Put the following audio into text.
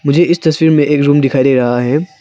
मुझे इस तस्वीर में एक रूम दिखाई दे रहा है।